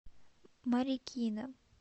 марикина